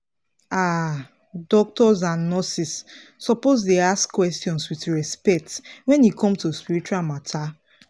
ah doctors and nurses suppose dey ask questions with respect wen e come to spiritual matter.